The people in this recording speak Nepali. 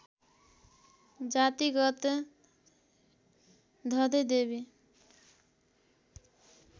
जातिगत धधे दैवी